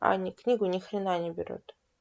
они книгу нихрена не берут